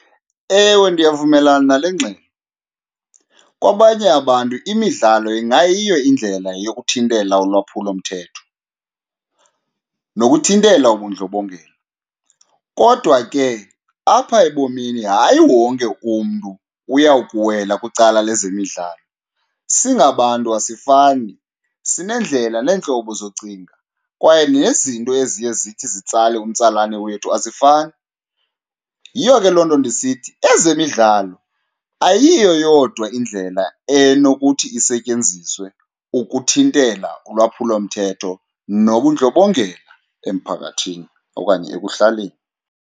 Ewe, ndiyavumelana nale ngxelo. Kwabanye abantu imidlalo ingayiyo indlela yokuthintela ulwaphulomthetho, nokuthintela ubundlobongela. Kodwa ke apha ebomini hayi wonke umntu uyakuwela kwicala lezemidlalo, singabantu asifani sineendlela neentlobo zocinga kwaye nezinto eziye zithi zitsale umtsalane wethu azifani. Yiyo ke loo nto ndisithi ezemidlalo ayiyo yodwa indlela enokuthi isetyenziswe ukuthintela ulwaphulomthetho nobundlobongela emphakathini okanye ekuhlaleni.